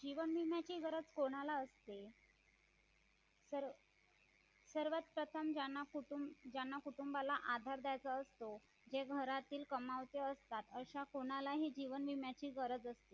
जीवन विम्याची गरज कोणाला असते तर सर्वप्रथम ज्यांना कुटुंबाला आधार द्यायचा असतो ते घरातील कमावते असतात अशा कोणालाही जीवन विम्याची गरज असते